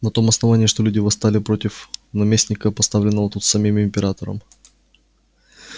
на том основании что люди восстали против наместника поставленного тут самим императором